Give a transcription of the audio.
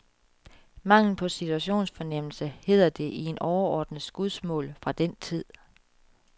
Mangel på situationsfornennelse, hedder det i en overordnets skudsmål fra den tid.